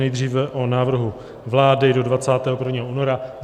Nejdříve o návrhu vlády do 21. února.